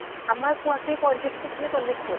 আমাৰ কুঁৱাটোই পয়ত্ৰিছ ফুত নে চল্লিছ ফুত